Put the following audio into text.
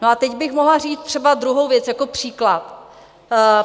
No a teď bych mohla říct třeba druhou věc jako příklad.